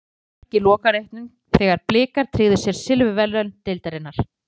Skoraði tvö mörk í lokaleiknum þegar Blikar tryggðu sér silfurverðlaun deildarinnar.